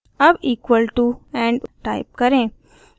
अब equal to end type करें